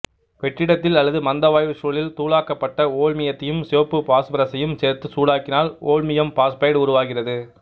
வெற்றிடத்தில் அல்லது மந்த வாயுச் சூழலில் தூளாக்கப்பட்ட ஓல்மியத்தையும் சிவப்பு பாசுபரசையும் சேர்த்து சூடாக்கினால் ஓல்மியம் பாசுபைடு உருவாகிறது